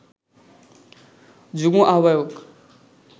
যুগ্ম আহ্বায়ক